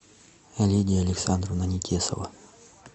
лидия александровна нетесова